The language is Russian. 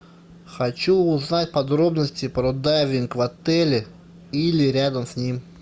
хочу узнать подробности про дайвинг в отеле или рядом с ним